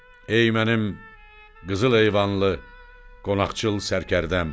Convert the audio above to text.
Ey mənim qızıl eyvanlı, qonaqcıl sərkərdəm.